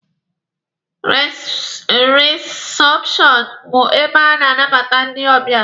Risepshọnụ bụ ebe a na-anabata ndị ọbịa.